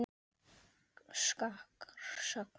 Skakkar sagnir.